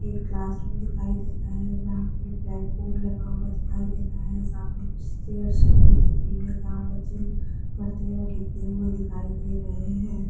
एक classroom दिखाई दे रहा है जहां पे ब्लैक बोर्ड लगा हुआ दिखाई दे रहा है सामने कुछ चेयर्स रखी हुई दिख रही है जहाँ बच्चे पढते लिखते हुए दिखाई दे रहे हैं।